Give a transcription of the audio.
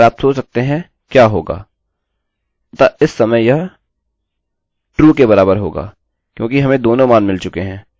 अतः इस समय यह true के बराबर होगा क्योंकि हमें दोनों मान मिल चुके हैं अतः यह ok है